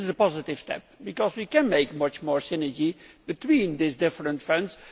This is a positive step because we can make much more synergy between these different funds.